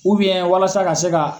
walasa ka se ka.